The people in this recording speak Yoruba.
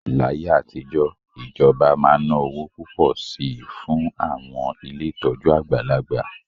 Láyé àtijọ́, ìjọba máa ń ná owó púpọ̀ sí i fún àwọn ilé ìtọ́jú àgbàlagbà